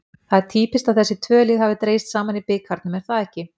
Það er týpískt að þessi tvö lið hafi dregist saman í bikarnum, er það ekki?